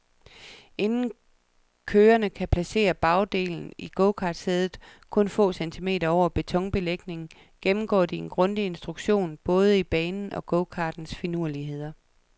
Inden kørerne kan placere bagdelen i gokartsædet, kun få centimeter over betonbelægningen, gennemgår de en grundig instruktion i både banens og gokartens finurligheder.